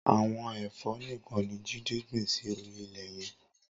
Awọn ẹ̀fộ nikàn ni Jide gbin si óri ilẹ yẹn